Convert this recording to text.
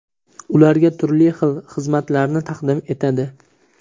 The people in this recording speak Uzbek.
ularga turli xil xizmatlarni taqdim etadi.